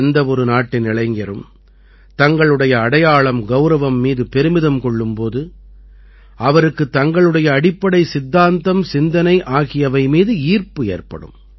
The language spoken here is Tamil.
எந்த ஒரு நாட்டின் இளைஞரும் தங்களுடைய அடையாளம்கௌரவம் மீது பெருமிதம் கொள்ளும் போது அவருக்குத் தங்களுடைய அடிப்படை சித்தாந்தம்சிந்தனை ஆகியவை மீது ஈர்ப்பு ஏற்படும்